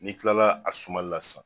N'i kilala a sumalila sisan